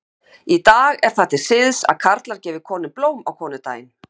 Í dag er það til siðs að karlar gefi konum blóm á konudaginn.